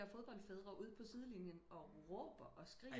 Fodboldfædre ude på sidelinjen og råber og skriger